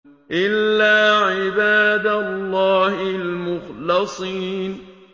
إِلَّا عِبَادَ اللَّهِ الْمُخْلَصِينَ